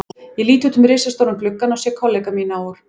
Ég lít út um risastóran gluggann og sé kollega mína úr